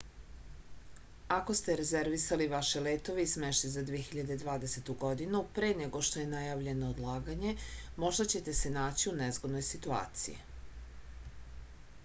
ako ste rezervisali vaše letove i smeštaj za 2020. godinu pre nego što je najavljeno odlaganje možda ćete se naći u nezgodnoj situaciji